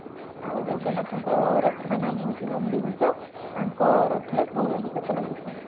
ଆଉ ଜଗନ୍ନାଥଙ୍କ ରଥ ର ନାମ ହୋଉଛି ନନ୍ଦୀ ଘୋସ ତାଙ୍କ ଚକ ରେ ଷୋହଳ ଟି ଚକ ଲାଗିଥାଏ